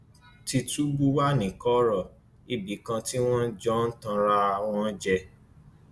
tìtúbù wà ní kọrọ ibì kan tí wọn jọ ń tan ara wọn jẹ